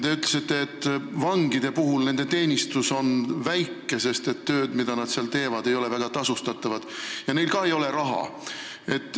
Te ütlesite, et vangide teenistus on väike, sest tööd, mida nad teevad, ei ole väga hästi tasustatud ja neil ka ei ole raha.